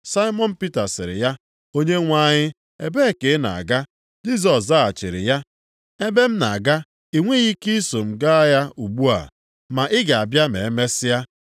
Saimọn Pita sịrị ya, “Onyenwe anyị ebee ka ị na-aga?” Jisọs zaghachiri ya, “Ebe m na-aga, i nweghị ike iso m gaa ya ugbu a. Ma ị ga-abịa ma emesịa.”